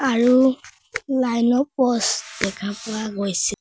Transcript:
আৰু লাইন ৰ প'ষ্ট দেখা পোৱা গৈছে।